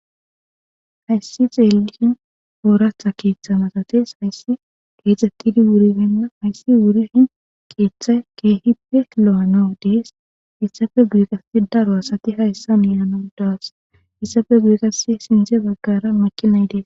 Hayssi xeelin ooratha keeththa masates hayssi geexxxettidi wuribenna hayssi wurihin qeeththay keehipelo'anao dees issafe biiqasi daro asati hayssa milana daas issafe giiqasi sinze baggara makinnaydees.